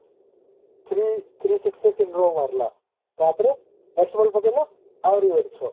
three three in ମାରିଲା ତାପରେ next ball ପକେଇଲା ଆହୁରି ଗୋଟେ ଛଅ